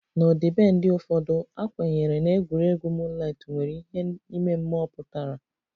N'ọdịbendị ụfọdụ, a kwenyere na egwuregwu moonlight nwere ihe ime mmụọ pụtara